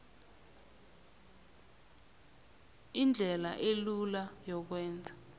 indlela elula yokwenza